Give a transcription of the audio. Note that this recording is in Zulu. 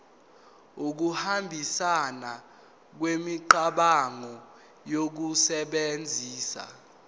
ukuhambisana kwemicabango ngokusebenzisa